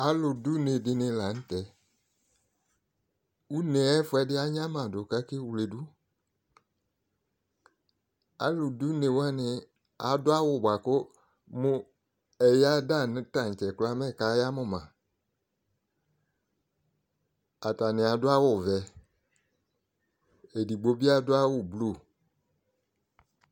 Alʋ d'une dɩnɩ la n'tɛ Une yɛ ayɛfuʋɛdɩ anyamadʋ k'akewledu Alʋdunewanɩ adʋ awʋ bʋa kʋ ɛya danʋ tantse kraa mɛka yamʋ ma Atanɩ adʋ awʋ vɛ, edigbo bɩ adʋ awʋ blu